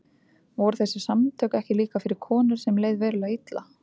Voru þessi samtök ekki líka fyrir konur sem leið verulega illa?